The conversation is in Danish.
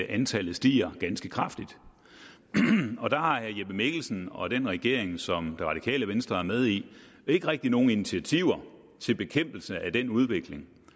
at antallet stiger ganske kraftigt og der har herre jeppe mikkelsen og den regering som det radikale venstre er med i ikke rigtig nogen initiativer til bekæmpelse af den udvikling